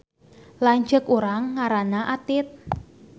Lanceuk urang ngaranna Atit